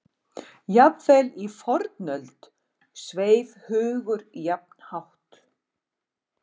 Jafnvel í fornöld sveif hugur jafn hátt.